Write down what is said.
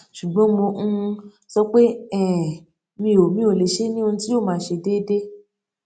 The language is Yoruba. ṣùgbọn mo um sọ pé um mi ò mi ò lè ṣe é ní ohun tí yóò ma ṣe déédéé